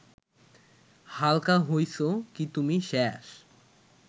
হালকা হইসো কি তুমি শ্যাষ